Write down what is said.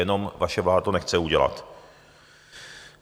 Jenom vaše vláda to nechce udělat.